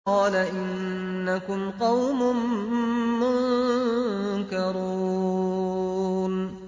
قَالَ إِنَّكُمْ قَوْمٌ مُّنكَرُونَ